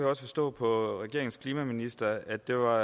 også forstå på regeringens klimaminister at det var